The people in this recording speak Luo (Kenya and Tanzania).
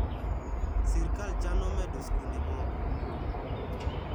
Sirkal chano medo skunde moko